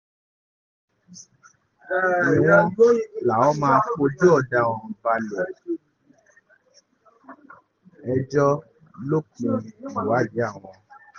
bákan náà ni wọ́n láwọn máa fojú ọ̀daràn náà balẹ̀-ẹjọ́ lópin ìwádìí àwọn